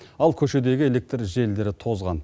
ал көшедегі электр желілері тозған